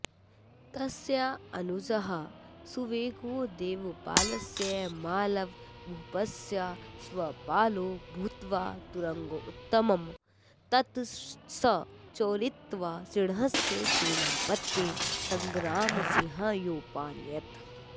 तस्यानुजः सुवेगो देवपालस्य मालवभूपस्याश्वपालो भूत्वा तुरङ्गोत्तमं ततश्चोरयित्वा सिंहणस्य सेनापतये संग्रामसिंहायोपानयत्